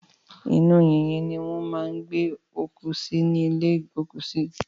Inú yìnyín ni wọ́n máa ń gbé òkú sí ní ìlé ìgbókùsí.